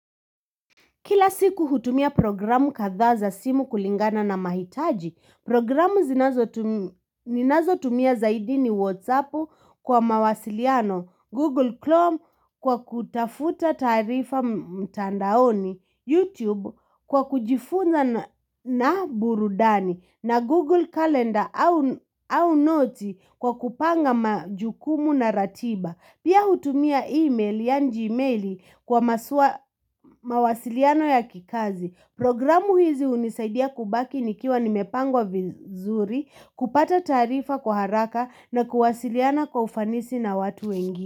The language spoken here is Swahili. Kila siku hutumia programu katha za simu kulingana na mahitaji, programu ninazo tumia zaidi ni Whatsappu kwa mawasiliano, Google Chrome kwa kutafuta tarifa mtandaoni, YouTube kwa kujifunza na burudani, na Google Calendar au note kwa kupanga majukumu na ratiba. Pia hutumia email ya njimail kwa maswa mawasiliano ya kikazi. Programu hizi hunisaidia kubaki nikiwa nimepangwa vizuri, kupata tarifa kwa haraka na kuwasiliana kwa ufanisi na watu wengi.